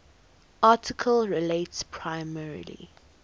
article relates primarily